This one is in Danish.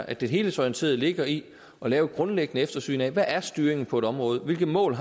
at det helhedsorienterede ligger i at lave et grundlæggende eftersyn af hvad styringen er på et område hvilke mål